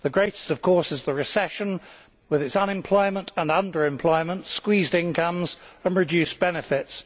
The greatest of course is the recession, with its unemployment and under employment, squeezed incomes and reduced benefits.